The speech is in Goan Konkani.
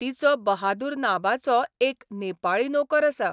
तिचो बहादूर नांबाचो एक नेपाळी नोकर आसा.